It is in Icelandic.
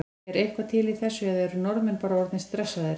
Er eitthvað til í þessu eða eru Norðmenn bara orðnir stressaðir?